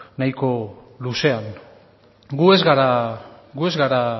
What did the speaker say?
nahiko luzean gu ez gara